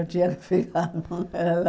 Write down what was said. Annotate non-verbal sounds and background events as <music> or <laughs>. Eu tinha que <laughs> ficar com ela.